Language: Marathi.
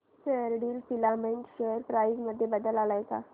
फेयरडील फिलामेंट शेअर प्राइस मध्ये बदल आलाय का